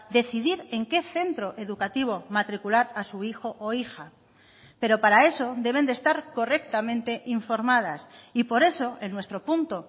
decidir en qué centro educativo matricular a su hijo o hija pero para eso deben de estar correctamente informadas y por eso en nuestro punto